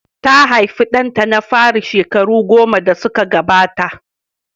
Ta haifi ɗanta na fari shekaru goma da suka gabata.